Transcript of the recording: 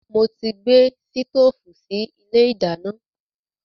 Mo ti gbé sítoòfù sì ilé ìdáná.